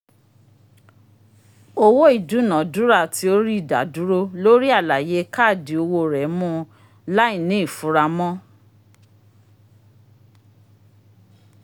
òwò idunadura tí orì ìdádúró lori àlàyé kaadi òwò rẹ mu u láì ní ifura mọ